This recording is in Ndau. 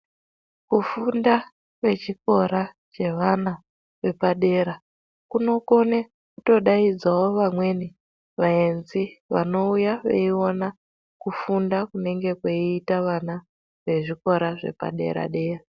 Kufunda kwechikora kwevana vepadera kunokone. Kutodaidzavo vamweni vaenzi vanouya veiona kufunda kunenge kweiita vana vezvikora zvepadera-dera.